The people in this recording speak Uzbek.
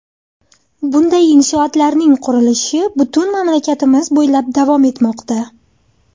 Bunday inshootlarning qurilishi butun mamlakatimiz bo‘ylab davom etmoqda.